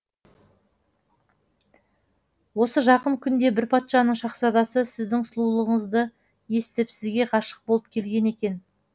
осы жақын күнде бір патшаның шаһзадасы сіздің сұлулығыңызды естіп сізге ғашық болып келген екен